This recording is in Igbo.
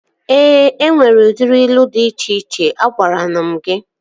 Ee, enwere udiri ilu dị iche iche. Agwaranu m gị